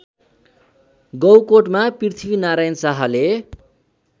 गौकोटमा पृथ्वीनारायण शाहले